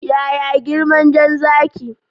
Yaya girman dan Zaki?